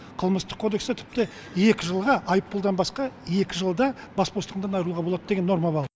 қылмыстық кодексте тіпті екі жылға айыппұлдан басқа екі жылда бас бостандығынан айыруға болады деген норма бал